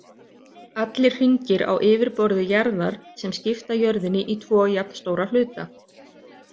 Allir hringir á yfirborði jarðar sem skipta jörðinni í tvo jafnstóra hluta.